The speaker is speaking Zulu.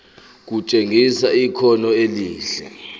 kutshengisa ikhono elihle